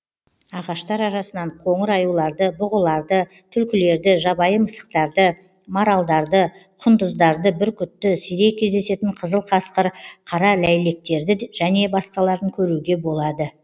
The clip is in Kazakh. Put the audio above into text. ағаштар арасынан қоңыр аюларды бұғыларды түлкілерді жабайы мысықтарды маралдарды құндыздарды бүркітті сирек кездесетін қызыл қасқыр қара ләйлектерді және басқаларын көруге болады